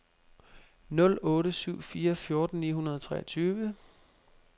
nul otte syv fire fjorten ni hundrede og treogtyve